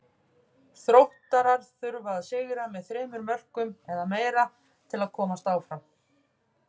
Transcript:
Þróttarar þurfa að sigra með þremur mörkum eða meira til að komast áfram.